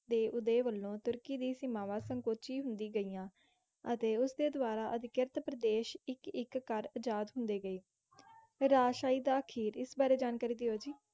ਦੇ ਉਦਏ ਵਲੋਂ ਤੁਰਕੀ ਦੀ ਸੀਮਾਵਾਂ ਸੰਕੋਚੀ ਹੁੰਦੀ ਗਈਆਂ ਅਤੇ ਉਸਦੇ ਦੁਆਰਾ ਅਧਿਕ੍ਰਿਤ ਪ੍ਰਦੇਸ਼ ਇੱਕ ਇੱਕ ਕਰ ਆਜ਼ਾਦ ਹੁੰਦੇ ਗਏ। ਰਾਜਸ਼ਾਹੀ ਦਾ ਆਖੀਰ, ਇਸ ਬਾਰੇ ਜਾਣਕਾਰੀ ਦਿਓ ਜੀ,